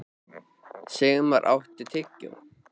Sigmann, áttu tyggjó?